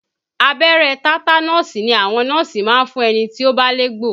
Abẹ́rẹ́ tátánọ̀sì ni àwọn nọ́ọ̀sì máa ń fún ẹni tí ó bá légbò